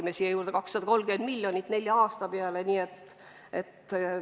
Me tõime valdkonda nelja aasta peale juurde 230 miljonit eurot.